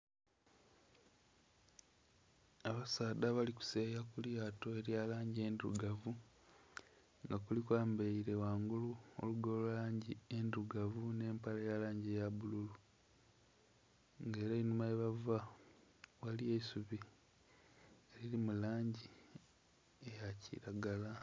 Abasaadha abalikuseyeya kulyato elyalangi endhirugavu nga kuliku ayambaire ghangulu olugoye olwalangi endhirugavu n'empale eyalangi eya bbululu nga era enhuma yebava ghaliyo eisubi eriri mulangi eyakiragala.